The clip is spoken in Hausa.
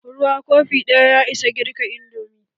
Ruwa kofi ɗaya ya isa girka indomi.